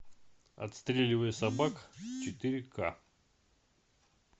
отстреливая собак четыре ка